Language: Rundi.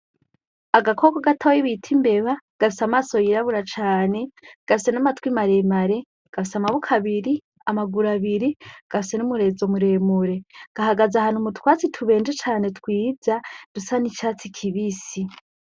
Agakoko gatoyi bita imbeba gafise amaso yirabura cane, gafise n'amatwi maremare, gafise amboko abiri, amaguru abiri, gafise n'umurizo muremure. Gahagaze ahantu mu twatsi tubenje cane twiza dusa n'icatsi kibisi.